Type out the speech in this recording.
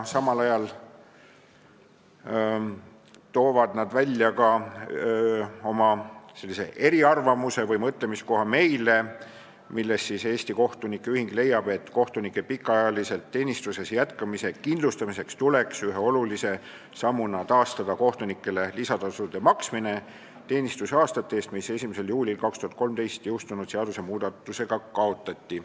Samal ajal toovad nad välja ka oma eriarvamuse või mõtlemiskoha meile, et kohtunike pikaajaliselt teenistuses jätkamise kindlustamiseks tuleks ühe olulise sammuna taastada kohtunikele lisatasu maksmine teenistusaastate eest, mis 1. juulil 2013 jõustunud seadusmuudatusega kaotati.